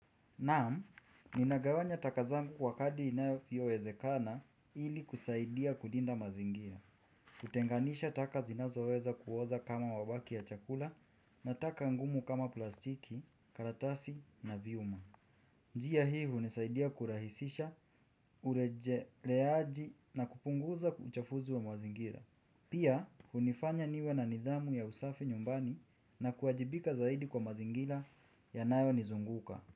Naam ninagawanya taka zangu kwa kadi inayowezekana ilikusaidia kulinda mazingira. Kutenganisha taka zinazoweza kuoza kama mabaki ya chakula na taka ngumu kama plastiki, karatasi na vyuma. Njia hi hunisaidia kurahisisha, urejeleaji na kupunguza uchafuzi wa mazingira. Pia, hunifanya niwe na nidhamu ya usafi nyumbani na kuwajibika zaidi kwa mazingira yanayo nizunguka.